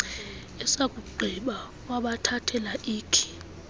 esakugqiba wabathathela ikhi